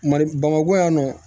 Mali bamakɔ yan nɔ